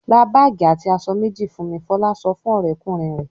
"Ra báágì àti aṣọ méjì fún mi!" Fọlá sọ fún ọ̀rẹ́kùnrin rẹ̀.